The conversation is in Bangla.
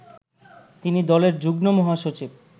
তিনি দলের যুগ্মমহাসচিব